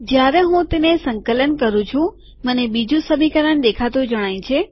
જયારે હું તેને સંકલન કરું છુંમને બીજું સમીકરણ દેખાતું જણાય છે